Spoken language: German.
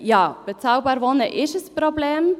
Ja, bezahlbarer Wohnraum ist ein Problem.